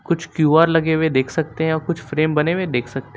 कुछ क्यू_आर लगे हुए देख सकते हैं और कुछ बने हुए देख सकते हैं।